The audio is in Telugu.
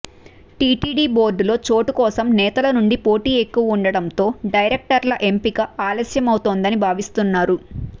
టిటిడి బోర్డులో చోటు కోసం నేతల నుండి పోటీ ఎక్కువగా ఉండటంతో డైరెక్టర్ల ఎంపిక ఆలస్యమవుతోందని భావిస్తున్నారు